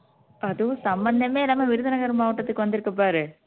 அதுவும் சம்மந்தமே இல்லாம விருதுநகர் மாவட்டத்துக்கு வந்திருக்கு பாரு